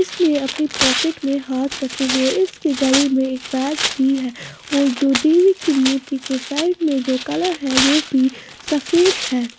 इसने अपनी पॉकेट में हाथ रखे हुए इसके गले में एक बैग भी है और जो देवी की मूर्ति के साइड में जो कलर है वो भी सफेद है।